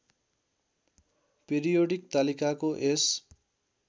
periodic तालिकाको यस